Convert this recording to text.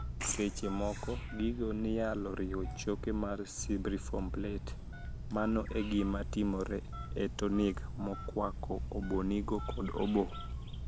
Seche moko gigo niyalo riwo choke mar cibriform plate mano e gima timore e tonig' mokwako obwonigo kod obo.